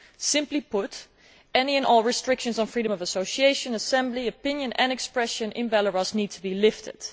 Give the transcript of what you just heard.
Simply put, any and all restrictions on freedom of association, assembly, opinion and expression in Belarus need to be lifted.